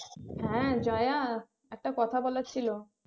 হ্যাঁ জয়া একটা কথা বলার ছিল